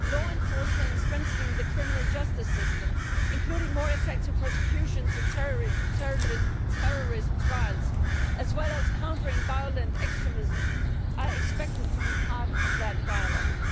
Law enforcement and strengthening the criminal justice system, including more effective prosecutions in terrorist trials, as well as countering violent extremism, are expected to be part of the dialogue.